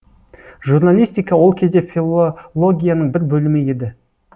журналистика ол кезде филологияның бір бөлімі еді